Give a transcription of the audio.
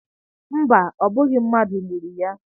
Mba, ọ bụghị mmadụ gburu ya.